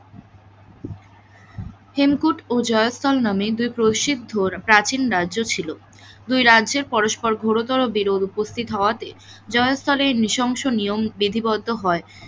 হেমকুট, ও জয়তন নামে দুই প্রসিদ্ধ প্রাচীন রাজ্য ছিল, দুই রাজ্যের পরস্পর ঘোরতর বিরোধ উপস্থিত হওয়াতে জয়তুনের নৃশংস নিয়ম বিধিবদ্ধ হয়,